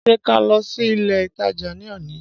Ṣé ká lọ sí ilé ìtajà ní òní